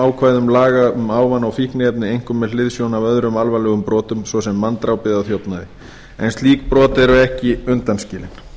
ákvæðum laga um ávana og fíkniefni einkum með hliðsjón af öðrum alvarlegum brotum svo sem manndrápi eða þjófnaði en slík brot eru ekki undanskilin